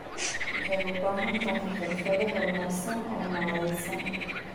Waxay u baahan tahay xirfado horumarsan oo maaraynta.